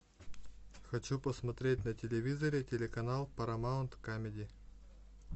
хочу посмотреть на телевизоре телеканал парамаунт камеди